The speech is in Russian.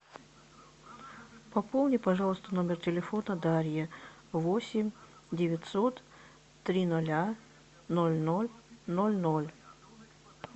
пополни пожалуйста номер телефона дарьи восемь девятьсот три ноля ноль ноль ноль ноль